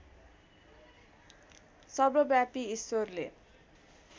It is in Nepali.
सर्वव्यापी ईश्वरले